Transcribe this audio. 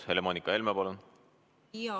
Helle-Moonika Helme, palun!